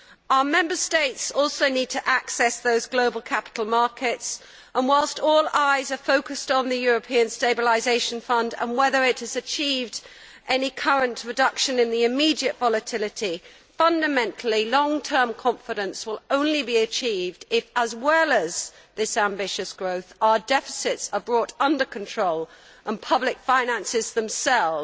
Our Member States also need to access those global capital markets and, whilst all eyes are focused on the European Stabilisation Fund, and whether it has achieved any current reduction in the immediate volatility, fundamentally, long term confidence will only be achieved if, as well as this ambitious growth, our deficits are brought under control and public finances themselves